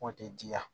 Kɔn tɛ diya